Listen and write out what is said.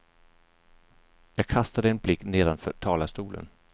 Jag kastade en blick nedanför talarstolen.